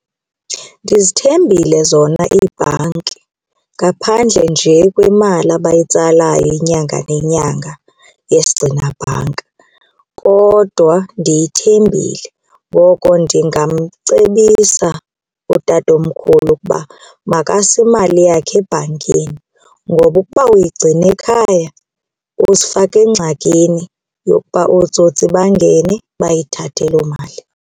Ndizithembile zona iibhanki ngaphandle nje kwemali abayitsalayo inyanga nenyanga yesigcinabhanka kodwa ndiyithembile. Ngoko ndingamcebisa utatomkhulu ukuba makase imali yakhe ebhankini ngoba ukuba uyigcina ekhaya, uzifaka engxakini yokuba ootsotsi bangene bayithathe loo mali.